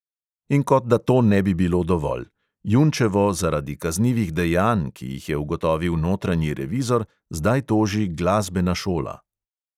In kot da to ne bi bilo dovolj: junčevo zaradi kaznivih dejanj, ki jih je ugotovil notranji revizor, zdaj toži glasbena šola.